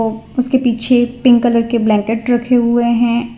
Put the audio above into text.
उसके पीछे pink colour के ब्लैंकेट रखे हुए हैं।